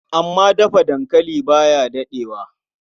Amma Dafa dankali ba ya daɗewa.